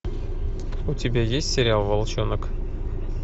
у тебя есть сериал волчонок